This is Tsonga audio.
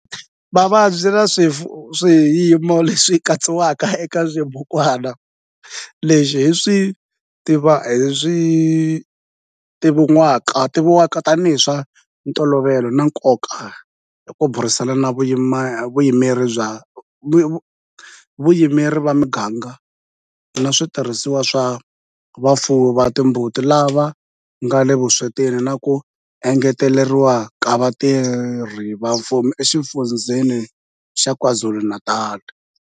Mavabyi na swiyimo leswi katsiwaka eka xibukwana lexi hi leswi tivivwaka tanihi hi swa ntolovelo na nkoka hi ku burisana na vayimeri va miganga na switirhisiwa swa vafuwi va timbuti lava nga le vuswetini na ku engeteriwa ka vatirhi va mfumo eXifundzheni xa KwaZulu-Natal.